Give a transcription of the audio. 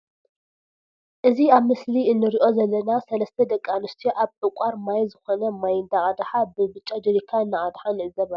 እዚ ኣብ ምስሊ እንሪኦ ዘለና ሰለስተ ደቂ ኣንስትዮ ኣብ ዕቃር ማይ ዝኮነ ማይ ዳ ቀድሓ ብ ብጫ ጀሪካን እናቀድሓ ንዕዘብ ኣለና።